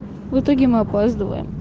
в итоге мы опоздываем